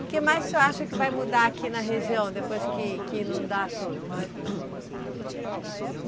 O que mais o senhor acha que vai mudar aqui na região depois que, que inundar tudo?